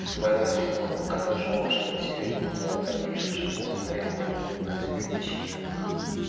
ол сыбайлас жемқорлыққа да жол ашады себебі бұл талаптарды ешқашан орындай алмайтындығын кәсіпкер де шенеуік